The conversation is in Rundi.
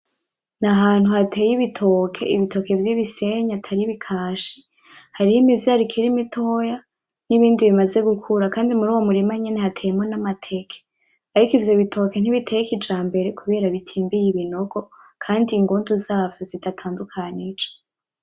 Ni ahantu hateye ibitoke, ibitoke vy'ibisenyi atari ibikashi hariho imivyaro ikiri mitoya n'ibindi bimaze gukura kandi muriyo mirima nyene hateyemwo n'amateke arik ivyo bitoke ntibiteye kijambere kubera bitimbiye ibinogo kandi ingundu zavyo zidatandukanije .